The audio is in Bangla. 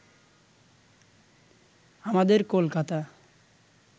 আমাদের কলকাতা